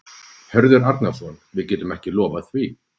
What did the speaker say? Hörður Arnarson: Við getum ekki lofað því?